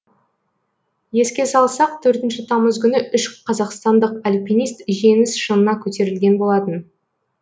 еске салсақ төртінші тамыз күні үш қазақстандық альпинист жеңіс шыңына көтерілген болатын